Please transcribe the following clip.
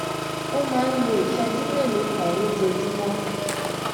ó máa ń lo ìṣéjú mélòó kan lójoojúmó